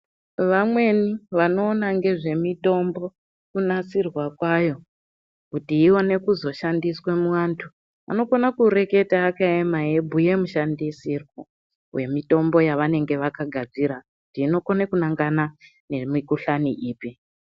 Vamweni vanoona ngezvemitombo kunasirwa kwayo kuti ione kuzoshandiswa muantu. Anokona kureketa akayema eibhuya mishandisirwo vemitombo yavanenge vakagadzira kuti inokone kunangana nemikuhlani ipi.